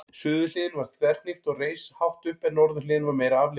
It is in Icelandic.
Suðurhliðin var þverhnípt og reis hátt upp en norðurhliðin var meira aflíðandi.